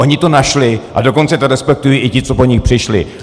Oni to našli, a dokonce to respektují i ti, co po nich přišli.